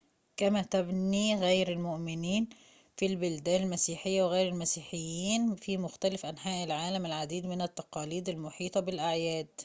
كما تبنى غير المؤمنين في البلدان المسيحية وغير المسيحيين في مختلف أنحاء العالم العديد من التقاليد المحيطة بالأعياد